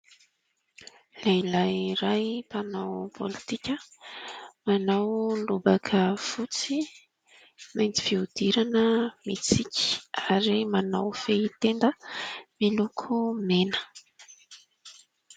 Lehilahy iray mpanao politika. Manao lobaka fotsy, mainty fihodirana, mitsiky ary manao fehitenda miloko mena.